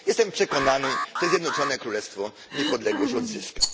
Jestem przekonany, że Zjednoczone Królestwo niepodległość odzyska.